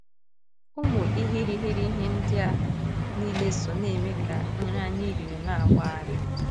Ụmụ irighiri ihe ndị a niile so na - eme ka nri anyị riri na - agbari.